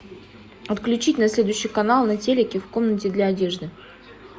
отключить на следующий канал на телике в комнате для одежды